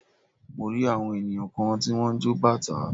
Mo rí àwọn ènìyàn kan tí wọ́n ń jọ bàtá.